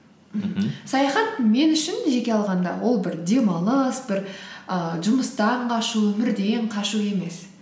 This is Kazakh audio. саяхат мен үшін жеке алғанда ол бір демалыс бір ііі жұмыстан қашу өмірден қашу емес